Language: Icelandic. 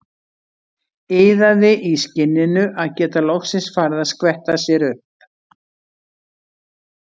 Iðaði í skinninu að geta loksins farið að skvetta sér upp.